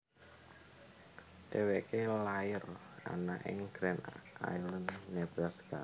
Dheweke lair ana ing Grand Island Nebraska